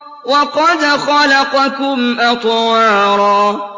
وَقَدْ خَلَقَكُمْ أَطْوَارًا